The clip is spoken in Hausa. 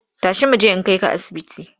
Tashi mu je in kai ka asibiti!